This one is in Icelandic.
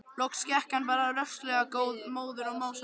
Loks gekk hann bara rösklega, móður og másandi.